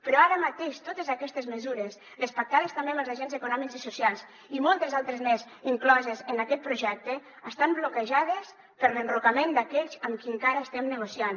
però ara mateix totes aquestes mesures les pactades també amb els agents econòmics i socials i moltes altres més incloses en aquest projecte estan bloquejades per l’enrocament d’aquells amb qui encara estem negociant